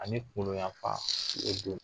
Ani kungolo yanfan